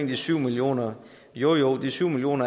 de syv million kr jo de syv million